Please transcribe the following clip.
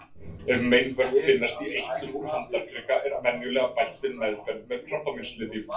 Ef meinvörp finnast í eitlum úr handarkrika er venjulega bætt við meðferð með krabbameinslyfjum.